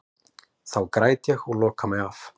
Þá græt ég og loka mig af.